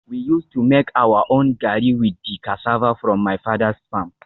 We used to make our own gari with the cassava from my father's farm